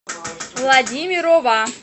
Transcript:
владимирова